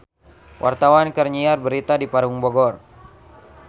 Wartawan keur nyiar berita di Parung Bogor